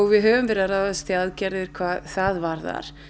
við höfum verið að ráðast í aðgerðir hvað það varðar